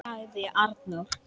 ., sagði Arnór.